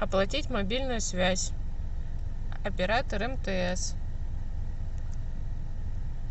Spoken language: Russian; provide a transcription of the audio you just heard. оплатить мобильную связь оператор мтс